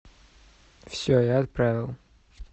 все я отправил